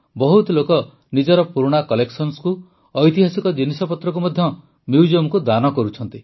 ବହୁତ ଲୋକ ନିଜର ପୁରୁଣା କଲେକ୍ସନକୁ ଐତିହାସିକ ଜିନିଷପତ୍ରକୁ ମଧ୍ୟ ମ୍ୟୁଜିୟମକୁ ଦାନ କରୁଛନ୍ତି